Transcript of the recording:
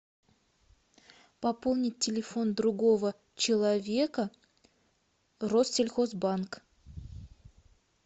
пополнить телефон другого человека россельхозбанк